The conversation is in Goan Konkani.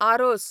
आरोस